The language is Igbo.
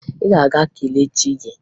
Ị ga-aga kelee chi gị!